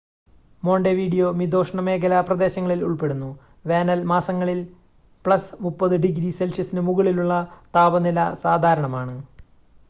Montevideo മിതോഷ്‌ണമേഖലാ പ്രദേശങ്ങളിൽ ഉൾപ്പെടുന്നു വേനൽ മാസങ്ങളിൽ +30 ഡിഗ്രി സെൽഷ്യസിന് മുകളിലുള്ള താപനില സാധാരണമാണ്